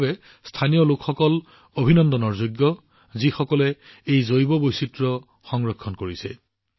ইয়াৰ বাবে স্থানীয় সম্প্ৰদায়সকল অভিনন্দনৰ যোগ্য যিসকলে এই জৈৱ বৈচিত্ৰ্য সংৰক্ষণ কৰিছে